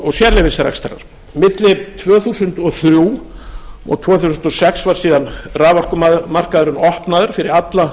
og sérleyfisrekstrar milli tvö þúsund og þrjú og tvö þúsund og sex var síðan raforkumarkaðurinn opnaður fyrir alla